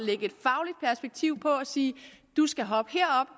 sige du skal hoppe herop